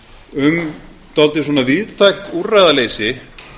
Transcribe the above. um dálítið svona víðtækt úrræðaleysi